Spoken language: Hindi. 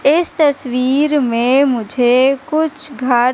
इस तस्वीर में मुझे कुछ घर--